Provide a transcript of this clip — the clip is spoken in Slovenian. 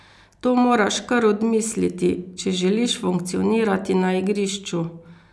To moraš kar odmisliti, če želiš funkcionirati na igrišču.